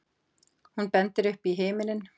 Hún bendir upp í himininn.